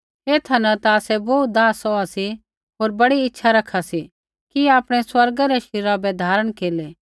ऐथा न ता आसै बोहू दाह सौहा सी होर बड़ी इच्छा रखा सी कि आपणै स्वर्गा रै शरीरा बै धारण केरलै